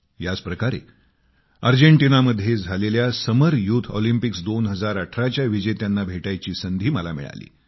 याच प्रकारे अर्जेंटिनामध्ये झालेल्या समर युथ ऑलिम्पिक्स 2018 च्या विजेत्यांना भेटायची संधी मिळाली